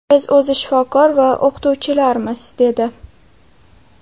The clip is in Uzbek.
Biz o‘zi shifokor va o‘qituvchilarmiz”, dedi.